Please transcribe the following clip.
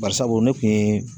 Barisabu ne kun ye